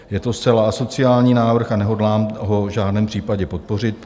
Je to zcela asociální návrh a nehodlám ho v žádném případě podpořit.